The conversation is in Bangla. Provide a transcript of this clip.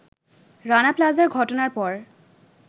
রানা প্লাজার ঘটনার পর